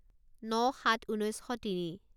ন সাত ঊনৈছ শ তিনি